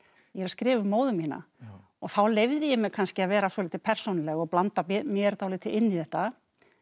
ég er að skrifa um móður mína og þá leyfði ég mér kannski að vera svolítið persónuleg og blanda mér dálítið inn í þetta